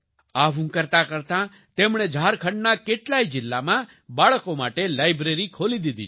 આવું કરતાં કરતાં તેમણે ઝારખંડના કેટલાય જિલ્લામાં બાળકો માટે લાયબ્રેરી ખોલી દીધી છે